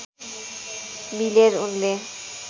मिलेर उनले